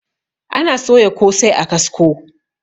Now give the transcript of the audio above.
ana soya kosai a kasko